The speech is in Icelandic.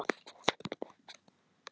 Landið þitt.